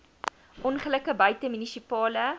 ongelukke buite munisipale